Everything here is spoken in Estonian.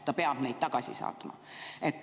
Ta peab need inimesed tagasi saatma.